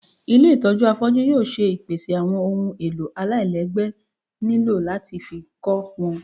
ilé itọju afọju yóò ṣe ìpèsè awọn ohún èlò àláilègbé niló latí fí kọ wọn